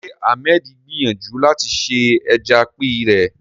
Ṣé Ahmed gbìyànjú láti ṣe ẹja píì rí?